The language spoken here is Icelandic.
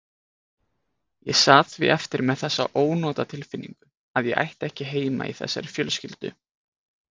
Ég sat því eftir með þessa ónotatilfinningu að ég ætti ekki heima í þessari fjölskyldu.